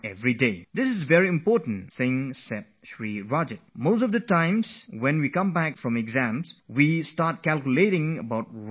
This is something very important Rajatji has told us because what most of us do is that when we return after an exam, we sit down to calculate what we did right and what we did wrong